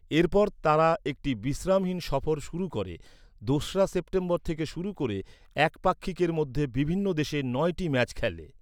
এরপর তারা একটি বিশ্রামহীন সফর শুরু করে, দোসরা সেপ্টেম্বর থেকে শুরু করে এক পাক্ষিকের মধ্যে বিভিন্ন দেশে নয়টি ম্যাচ খেলে।